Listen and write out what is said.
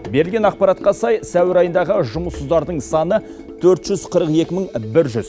берілген ақпаратқа сай сәуір айындағы жұмыссыздардың саны төрт жүз қырық екі мың бір жүз